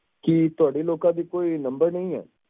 ਕੀ ਤੁਹਾਡੀ ਲੋਕਾਂ ਦੀ ਕੋਈ number ਨਹੀਂ ਏ